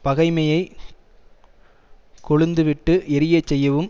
பகைமையைக் கொழுந்து விட்டு எரிய செய்யவும்